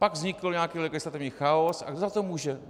Pak vznikl nějaký legislativní chaos - a kdo za to může?